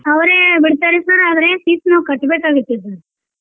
ಅವ್ರ ಬಿಡ್ತಾರೆ sir ಆದ್ರೆ fees ನಾವ್ ಕಟ್ಬೇಕಾಗುತ್ತೆ sir .